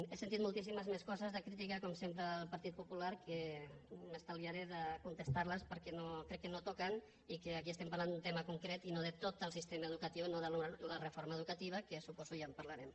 he sentit moltíssimes més coses de crítica com sempre al partit popular que m’estalviaré de contestar les perquè crec que no toquen i que aquí estem parlant d’un tema concret i no de tot el sistema educatiu no de la reforma educativa que suposo ja en parlarem